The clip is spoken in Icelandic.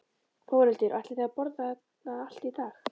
Þórhildur: Og ætlið þið að borða það allt í dag?